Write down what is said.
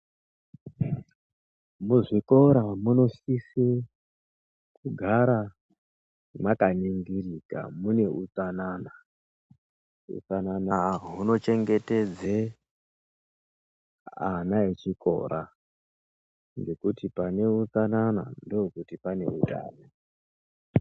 Muzvikora munosise kugara mwakaningirika muneutsanana hutsanana hunochengetedze ana echikora ngekuti pane utsanana ndokuti paneutano